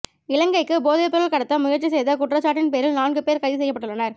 இலங்கைக்கு போதைப்பொருள் கடத்த முயற்சி செய்த குற்றச்சாட்டின் பேரில் நான்கு பேர் கைது செய்யப்பட்டுள்ளனர்